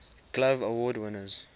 glove award winners